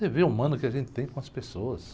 Dever humano que a gente tem com as pessoas.